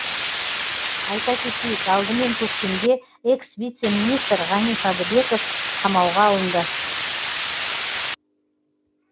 айта кетейік алдымен көктемде экс вице министр ғани садыбеков қамауға алынды